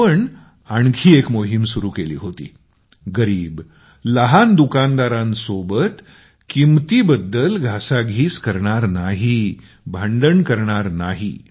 आपण आणखी एक मोहीम सुरु केली होती गरीब लहान दुकानदारांसोबत घासाघीस करणार नाही भांडण करणार नाही